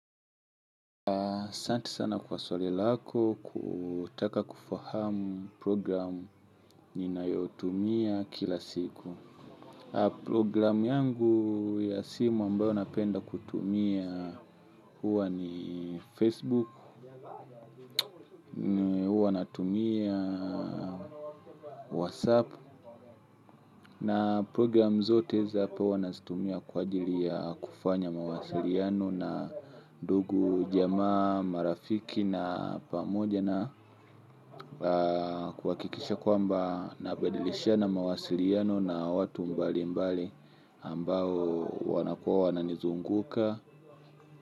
Asanti sana kwa swali lako kutaka kufahamu programu ninayotumia kila siku. Programu yangu ya simu ambayo napenda kutumia huwa ni Facebook, huwa natumia WhatsApp. Na programu zote za hapa wanazitumia kwa ajili ya kufanya mawasiliano na ndugu jamaa marafiki na pamoja na kuhakikisha kwamba nabadilishana mawasiliano na watu mbali mbali ambao wanakua wananizunguka.